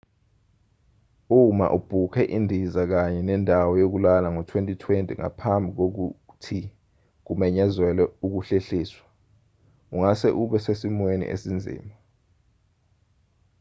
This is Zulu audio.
uma ubhukhe indiza kanye nendawo yokulala ngo-2020 ngaphambi kokuthi kumenyezelwe ukuhlehliswa ungase ube sesimweni esinzima